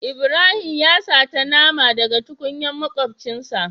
Ibrahim ya sata nama da ga tukunyar makuncin sa.